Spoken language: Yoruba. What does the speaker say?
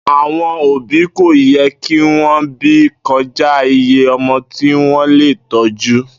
Àwo̩n òbí kò ye̩ kí wo̩n bí ko̩já iye o̩mo̩ tí wó̩n lè tó̩jú